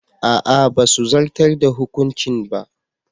A'a basu zartar da hukuncin ba.